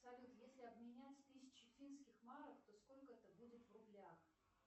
салют если обменять тысячу финских марок то сколько это будет в рублях